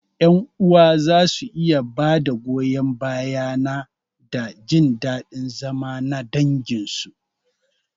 Ƴan uwa za su iya ba da goyon baya na da jin daɗin zama na danginsu.